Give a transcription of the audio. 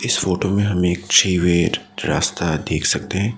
इस फोटो में हम एक थ्री वेड रास्ता देख सकते हैं।